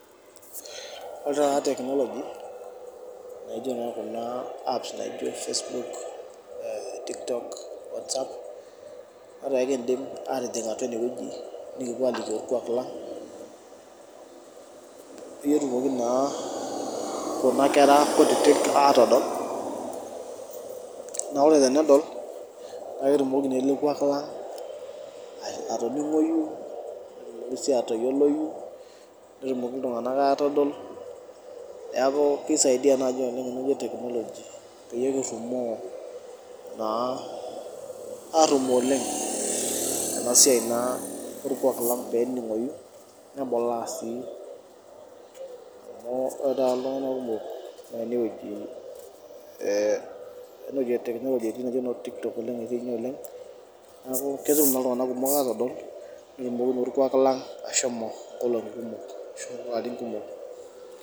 Olo taata technology naijio naa kuna apps naijio facebook eh tiktok, whatsapp etaa ekindim atijing atua inewueji nikipuo alikio orkuak lang peyie etumoki naa kuna kera kutitik atodol naore tenedol naa ketumoki naa ele kuak lang uh atoning'oyu netumoki sii atoyioloyu netumoki iltung'anak atodol neaku kisaidia naaji oleng enewueji e technology peyie kirrumoo naa arrumoo oleng ena siai naa orkuak lang pening'oyu nebulaa sii amu ore taata iltung'anak kumok naa enewueji eh enewoji e technology etii naijo inoo tiktok oleng etii inye oleng neeku ketum naa iltung'anak kumok atodol netumoki naa orkuak lang ashomo inkolong'i kumok ashu ilarin kumok.